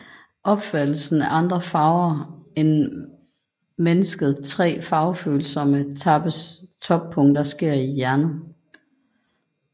Opfattelsen af andre farver end mennesket tre farvefølsomme tappes toppunkter sker i hjernen